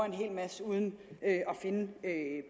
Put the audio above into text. en hel masse uden at finde